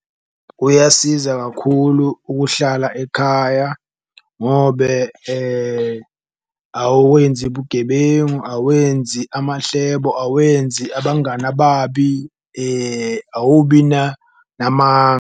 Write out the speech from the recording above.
Kuyasiza kakhulu ukuhlala ekhaya ngobe awenzi bugebengu, awenzi amahlebo, awenzi abangani ababi, awubi .